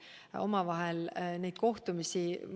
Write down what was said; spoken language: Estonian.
Neid kohtumisi.